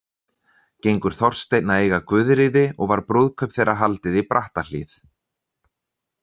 Gengur Þorsteinn að eiga Guðríði og var brúðkaup þeirra haldið í Brattahlíð.